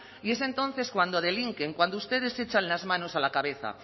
y es entonces cuando delinquen cuando ustedes se echan las manos a la cabeza